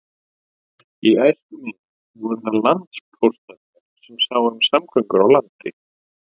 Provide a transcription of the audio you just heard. Í æsku minni voru það landpóstarnir sem sáu um samgöngur á landi.